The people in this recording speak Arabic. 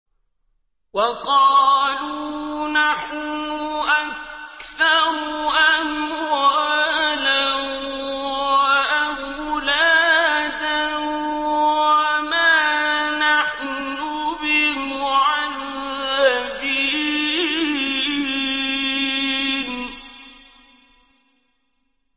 وَقَالُوا نَحْنُ أَكْثَرُ أَمْوَالًا وَأَوْلَادًا وَمَا نَحْنُ بِمُعَذَّبِينَ